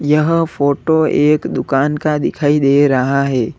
यहां फोटो एक दुकान का दिखाई दे रहा है।